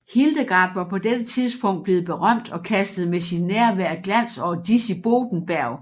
Hildegard var på dette tidspunkt blevet berømt og kastede med sit nærvær glans over Disibodenberg